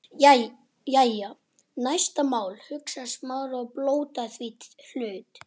Hann drattaðist á fætur og hökti í skjól til